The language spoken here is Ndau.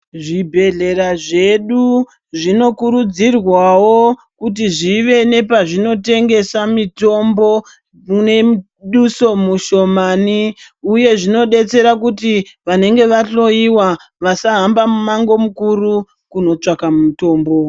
Zvibhedhlera zvedu zvinokurudzirwavo kuti zvive nepazvinotengesa mutombo nemuduso mushomani, uye zvinobetsera kuti vanenge vahlowa vasahamba mumango mukuru kunotsvaka mutombo.